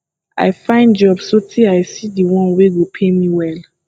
i find job sotee i see di one wey go pay me well